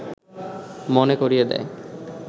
মনে করিয়ে দেয়